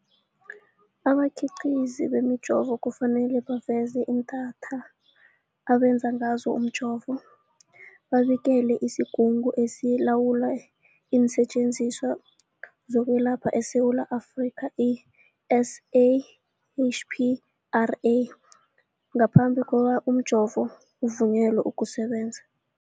Abakhiqizi bemijovo kufanele baveze iinthako abenze ngazo umjovo, babikele isiGungu esiLawula iinSetjenziswa zokweLapha eSewula Afrika, i-SAHPRA, ngaphambi kobana umjovo uvunyelwe ukusebenza.